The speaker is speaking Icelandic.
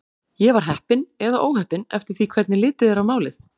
Ég var heppin eða óheppin eftir því hvernig litið er á málið.